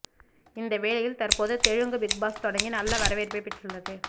இதே வேளையில் தற்போது தெலுங்கு பிக்பாஸ் தொடங்கி நல்ல வரவேற்பை பெற்று உள்ளது